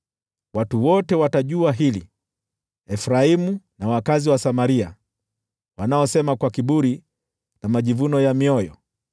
Watu wote watajua hili: Efraimu na wakazi wa Samaria, wanaosema kwa kiburi na majivuno ya mioyo,